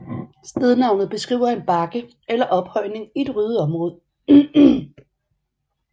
Stednavnet beskriver en bakke eller ophøjning i et ryddet område